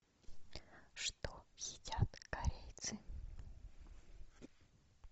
что едят корейцы